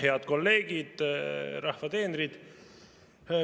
Head kolleegid, rahva teenrid!